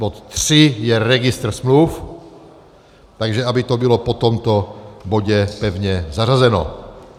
Bod 3 je registr smluv, takže aby to bylo po tomto bodě pevně zařazeno.